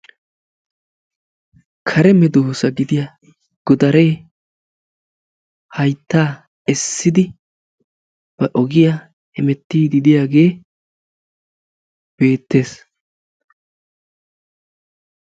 kare meddossa gidiyaa godare haytta essidi ba ogiya hemettid de"iyage beettessi.